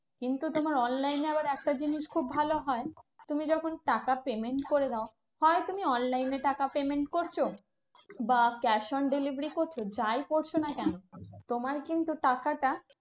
কিন্তু তোমার online এ আবার একটা জিনিস খুব ভালো হয়, তুমি যখন টাকা payment করে দাও, হয় তুমি online এ টাকা payment করছো বা cash on delivery করছো, যাই করছো না কেন তোমার কিন্তু টাকাটা